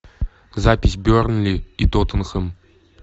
запись бернли и тоттенхэм